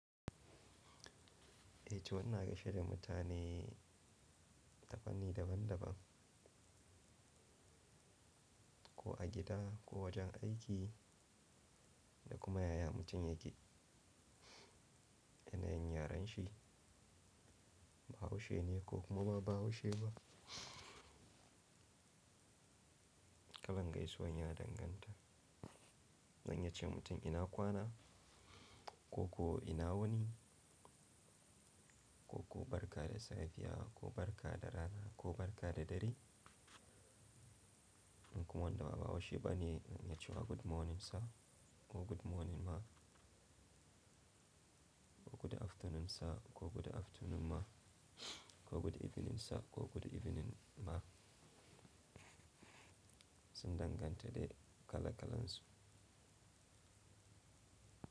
Eh to ina gaishe da mutane ta panni daban daban, ko a gida ko wajen aiki da kuma yaya mutum yake. Yanayin yaren shi, Bahaushe ne ko kuma ba Bahaushe ba. Kalangaisuwan ya danganta, zan iya ce mutum ina kwana ko ko ina wuni ko ko barka da safiya ko barka da rana ko barka da dare. In kuma wanda ba Bahaushe ba ne na ce wa good morning sir ko good morning ma ko good afternoon sir ko good afternoon ma ko good evening sir ko good evening ma. Sun danganta da kala kalansu.